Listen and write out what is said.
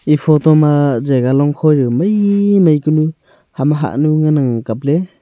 e photo ma jagah longkhow jaw maimai kunu ama hahnu ngan ang kopley.